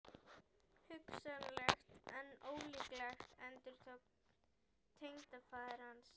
Hugsanlegt en ólíklegt endurtók tengdafaðir hans.